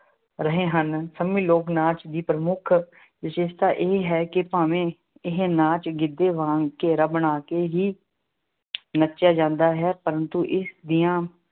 ਰਹੇ ਹਨ। ਸੰਮੀ ਲੋਕ-ਨਾਚ ਦੀ ਪ੍ਰਮੁੱਖ ਵਿਸ਼ੇਸ਼ਤਾ ਇਹ ਹੈ ਕਿ ਭਾਵੇਂ ਇਹ ਨਾਚ ਗਿੱਧੇ ਵਾਂਗ ਘੇਰਾ ਬਣਾ ਕੇ ਹੀ ਨੱਚਿਆ ਜਾਂਦਾ ਹੈ ਪ੍ਰੰਤੂ ਇਸ ਦੀਆਂ